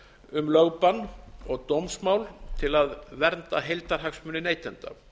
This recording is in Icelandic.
um lögbann og dómsmál til að vernda heildarhagsmuni neytenda